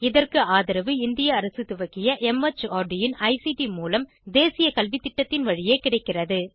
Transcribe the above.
இதற்கு ஆதரவு இந்திய அரசு துவக்கிய மார்ட் இன் ஐசிடி மூலம் தேசிய கல்வித்திட்டத்தின் வழியே கிடைக்கிறது